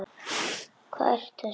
Hvað ertu að segja!